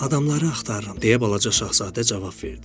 Adamları axtarıram, deyə balaca şahzadə cavab verdi.